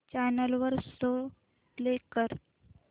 channel वर show play कर